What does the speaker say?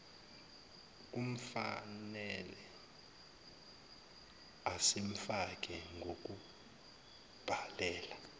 kufnele asifake ngokubhalela